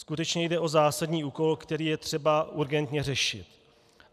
Skutečně jde o zásadní úkol, který je třeba urgentně řešit.